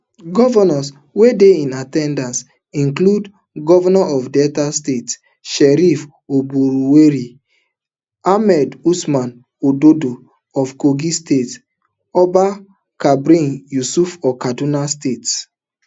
govnors wey dey in at ten dance include govnor of delta state sheriff oborevwori ahmed usman ododo of kogi state abba kabir yusuf of kano state